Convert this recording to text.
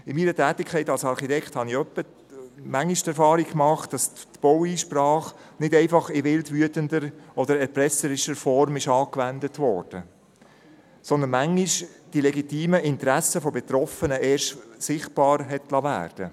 In meiner Tätigkeit als Architekt machte ich oft die Erfahrung, dass die Baueinsprache nicht einfach in wildwütender oder in erpresserischer Form angewendet wurde, sondern dass sie manchmal die legitimen Interessen Betroffener erst sichtbar werden liess.